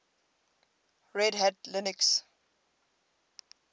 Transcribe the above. red hat linux